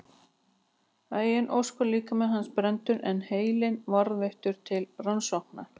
Að eigin ósk var líkami hans brenndur en heilinn varðveittur til rannsókna.